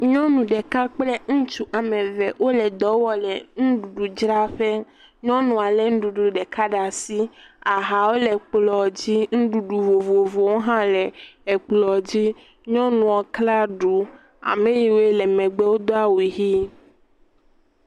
Nyɔnu ɖeka kple ŋutsu ame eve wole dɔ wɔm le nuɖuɖudzraƒe. Nyɔnua lé nuɖuɖu ɖeka ɖe asi ahawo le kplɔdzi nuɖuɖu vovovowo hã le ekplɔ dzi. Nyɔnua kla ɖu. Ame yiwo le megbe wodo awu ʋi.